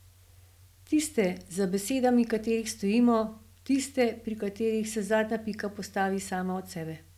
Tiste, za besedami katerih stojimo, tiste, pri katerih se zadnja pika postavi sama od sebe.